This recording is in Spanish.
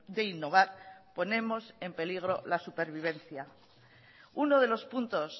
de innovar ponemos en peligro la supervivencia uno de los puntos